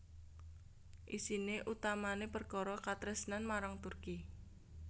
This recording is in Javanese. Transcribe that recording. Isiné utamané perkara katresnan marang Turki